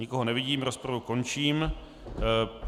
Nikoho nevidím, rozpravu končím.